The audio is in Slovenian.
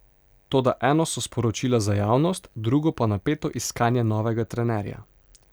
Toda eno so sporočila za javnost, drugo pa napeto iskanje novega trenerja.